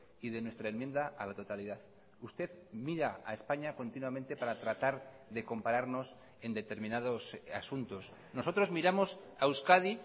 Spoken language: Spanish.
y de nuestra enmienda a la totalidad usted mira a españa continuamente para tratar de compararnos en determinados asuntos nosotros miramos a euskadi